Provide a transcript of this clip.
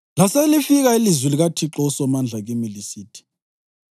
Laselifika ilizwi likaThixo uSomandla kimi lisithi: